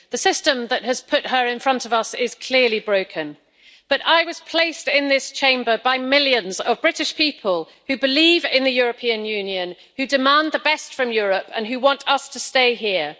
The system that has put her in front of us is clearly broken, but I was placed in this Chamber by millions of British people who believe in the European Union, who demand the best from Europe and who want us to stay here.